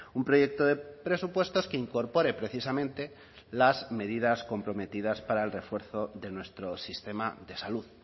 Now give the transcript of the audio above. un proyecto de presupuestos que incorpore precisamente las medidas comprometidas para el refuerzo de nuestro sistema de salud